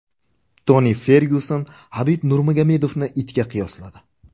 Toni Fergyuson Habib Nurmagomedovni itga qiyosladi.